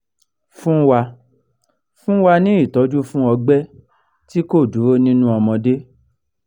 fun wa fun wa ni ìtọ́jú fún ogbe ti ko duro ninu omode